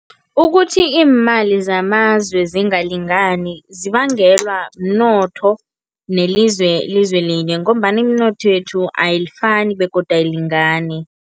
Ukuthi iimali zamazwe zingalingani zibangelwa mnotho nelizwe lizwe linye ngombana iminotho yethu ayifani begodu ayilingani.